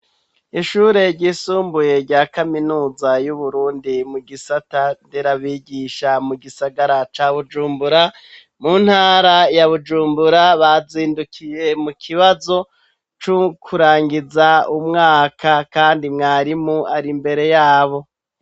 Ishure ryisumbuye rya kaminuza y'Uburundi mu gisata nderabigisha mu gisagara ca bujumbura mu ntara ya bujumbura bazindukiye mu kibazo cukurangiza umwaka kandi mwarimu ari mbere yabo.